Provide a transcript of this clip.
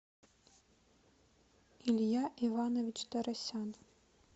илья иванович тарасян